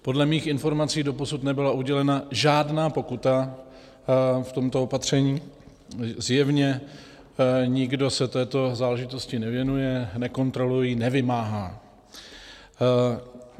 Podle mých informací doposud nebyla udělena žádná pokuta v tomto opatření, zjevně nikdo se této záležitosti nevěnuje, nekontroluje ji, nevymáhá.